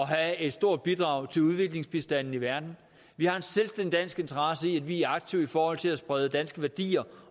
have et stort bidrag til udviklingsbistanden i verden vi har en selvstændig dansk interesse i at vi er aktive i forhold til at sprede danske værdier